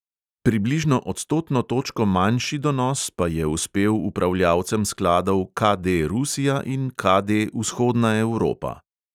Približno odstotno točko manjši donos pa je uspel upravljavcem skladov KD rusija in KD vzhodna evropa.